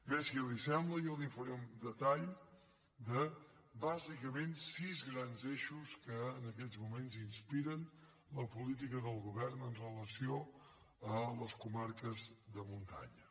bé si li sembla bé jo li faré un detall de bàsicament sis grans eixos que en aquests moments inspiren la política del govern amb relació a les comarques de muntanya